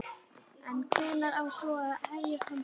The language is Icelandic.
En hvenær á svo að hefjast handa?